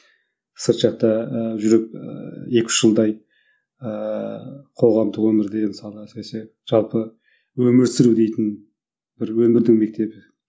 сырт жақта ыыы жүріп ыыы екі үш жылдай ыыы қоғамдық өмірде әсіресе жалпы өмір сүру дейтін бір өмірдің мектебі